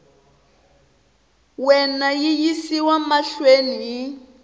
wena yi yisiwa mahlweni hi